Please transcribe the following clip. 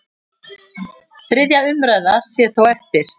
Þriðja umræða sé þó eftir.